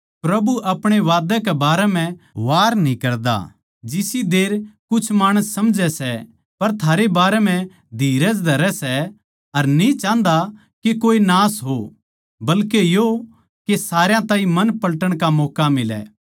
प्रभु अपणे वादे कै बारै म्ह वार न्ही करदा जिसी देर कुछ माणस समझै सै पर थारै बारै म्ह धीरज धरै सै अर न्ही चाहन्दा के कोए नाश हो बल्के यो के सारया ताहीं मन पलटन का मौक्का मिलै